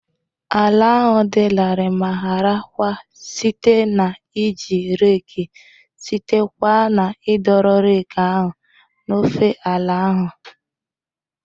Ala ahụ dị larịị ma hara kwa site na iji reeki site kwa na idoro reeki ahụ n'ofe ala ahụ.